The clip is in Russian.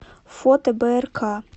фото брк